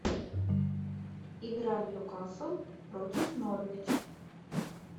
игра ньюкасл против норвич